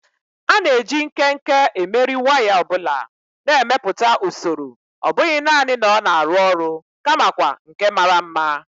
A na-eji nkenke emeri waya ọ bụla, na-emepụta usoro ọ bụghị nanị na ọ na-arụ ọrụ, kamakwa nke mara mma.